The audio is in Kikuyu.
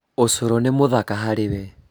ũcũrũ nĩ mũthaka harĩ we